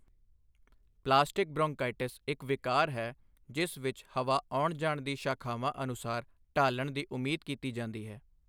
Plastic bronchitis ਇੱਕ ਵਿਕਾਰ ਹੈ ਜਿਸ ਵਿੱਚ ਹਵਾ ਆਉਣ ਜਾਣ ਦੀ ਸ਼ਾਖਾਵਾਂ ਅਨੁਸਾਰ ਢਾਲਣ ਦੀ ਉਮੀਦ ਕੀਤੀ ਜਾਂਦੀ ਹੈ।